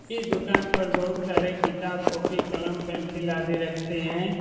इसी दुकान पर बहुत सारे किताब कॉपी कलम पेंसिल आदि रखते है।